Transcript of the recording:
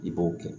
I b'o kɛ